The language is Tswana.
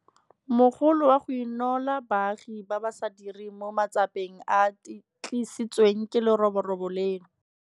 Mogolo wa go Inola Baagi ba ba sa Direng mo Matsapeng a a Tlisitsweng ke Leroborobo leno.